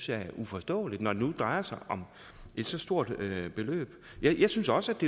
jeg er uforståeligt når det nu drejer sig om et så stort beløb jeg synes også at